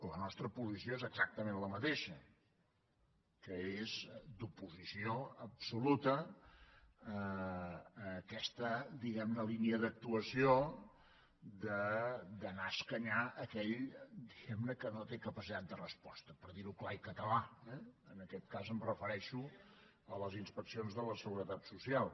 la nostra posició és exactament la mateixa que és d’oposició absoluta a aquesta diguem ne línia d’actuació d’anar a escanyar aquell diguem ne que no té capacitat de resposta per dir ho clar i català eh en aquest cas em refereixo a les inspeccions de la seguretat social